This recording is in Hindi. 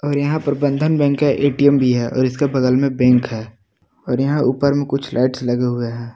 और यहा पर बंधन बैंक का ए_टी_एम भी है और इसके बगल मे बैंक है और यहा ऊपर मे कुछ लाइट्स लगे हुए है।